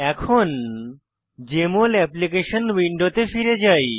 এখন JML application উইন্ডোতে ফিরে যাই